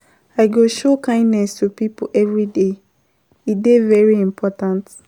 I go show kindness to pipo everyday, e dey very important.